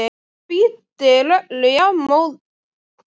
Hann spýtir öllu jafnóðum út úr sér.